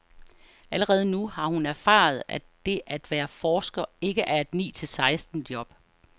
Allerede nu har hun erfaret, at det at være forsker ikke er et ni til seksten job.